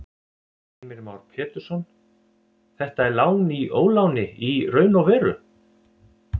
Heimir Már Pétursson: Þetta er lán í óláni í raun og veru?